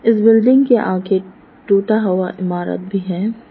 इस बिल्डिंग के आगे टूटा हुआ इमारत भी है।